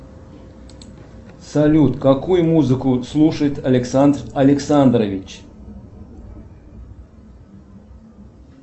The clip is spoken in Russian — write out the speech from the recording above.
салют какую музыку слушает александр александрович